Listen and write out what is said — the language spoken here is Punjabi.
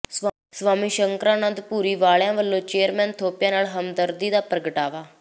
ਸਵਾਮੀ ਸ਼ੰਕਰਾ ਨੰਦ ਭੂਰੀ ਵਾਲਿਆਂ ਵੱਲੋਂ ਚੇਅਰਮੈਨ ਥੋਪੀਆ ਨਾਲ ਹਮਦਰਦੀ ਦਾ ਪ੍ਰਗਟਾਵਾ